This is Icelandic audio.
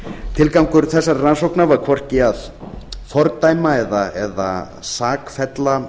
tilgangur þessarar rannsóknar var hvorki að fordæma eða sakfella